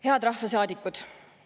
Head rahvasaadikud!